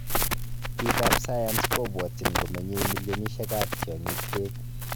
Piik ap.sayans kopwotchin komenyei millionishek ap tyongik peek